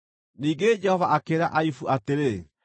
Ningĩ Jehova akĩĩra Ayubu atĩrĩ: